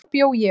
Þar bjó ég.